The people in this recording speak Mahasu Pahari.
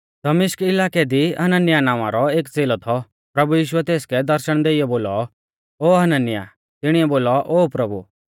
दमिश्क इलाकै दी हनन्याह नावां रौ एक च़ेलौ थौ प्रभु यीशुऐ तेसकै दर्शण देइऔ बोलौ ओ हनन्याह तिणीऐ बोलौ ओ प्रभु